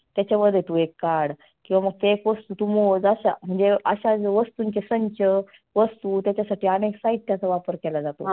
त्याच्यामध्ये तु एक काढ किंवा मग ते एक वस्तु तु मोज अशा म्हणजे अशा वस्तुंचे संख्य वस्तु त्याच्यासाठी आनेक साहित्याचा वापर केला जातो.